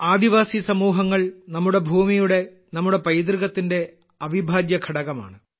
ആദിവാസി സമൂഹങ്ങൾ നമ്മുടെ ഭൂമിയുടെ നമ്മുടെ പൈതൃകത്തിന്റെ അവിഭാജ്യഘടകമാണ്